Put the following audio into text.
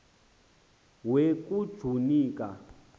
we kujuni ka